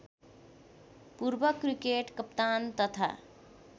पूर्वक्रिकेट कप्तान तथा